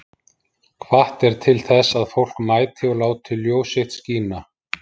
Hvatt er til þess að fólk mæti og láti ljós sitt skína